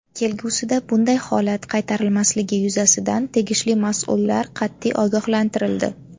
Kelgusida bunday holat qaytarilmasligi yuzasidan tegishli mas’ullar qat’iy ogohlantirildi.